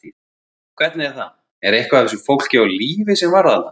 Hvernig er það, er eitthvað af þessu fólki á lífi sem var þarna?